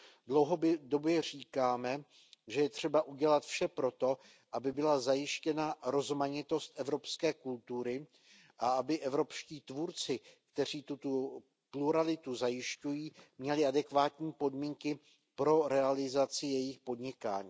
Dlouhodobě říkáme, že je třeba udělat vše pro to, aby byla zajištěna rozmanitost evropské kultury a aby evropští tvůrci, kteří tuto pluralitu zajišťují, měli adekvátní podmínky pro realizaci jejich podnikání.